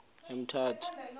emthatha